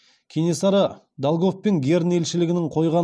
кенесары долгов пен герн елшілігінің қойған